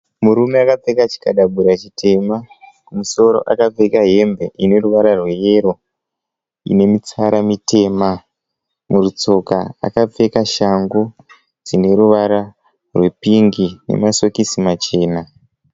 Murume akapfeka chikadabura chitema kumusoro akapfeka hembe yeyero ine mitsara mitema . Mutsoka akapfeka shangu dzine ruvara rwepingi nemasokisi machena.